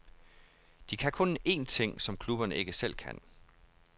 De kan kun en ting, som klubberne ikke selv kan.